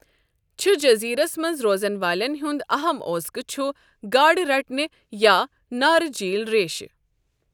چھُ جزیرس منز روزن والین ہُند اہم اوذقہٕ چھُ گاڈٕ رٹنہِ یا نارجیل ریشہِ ۔